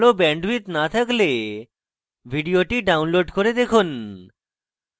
ভাল bandwidth না থাকলে ভিডিওটি download করে দেখুন